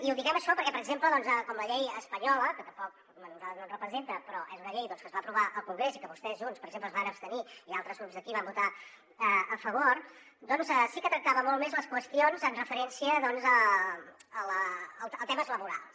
i diem això perquè per exemple com la llei espanyola que tampoc a nosaltres no ens representa però és una llei que es va aprovar al congrés i que vostès junts per exemple s’hi van abstenir i altres grups d’aquí van votar hi a favor doncs sí que tractava molt més les qüestions amb referència a temes laborals